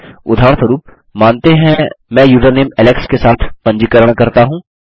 उदाहरणस्वरुप मानते हैं मैं यूज़रनेम एलेक्स के साथ पंजीकरणरजिस्टर करता हूँ